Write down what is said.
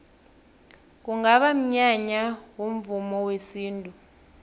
kungaba mnyanya womvumo wesintu